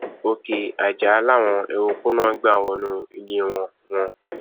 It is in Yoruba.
òkè ajá làwọn eruùkù náà gbà wọnú ilé wọn wọn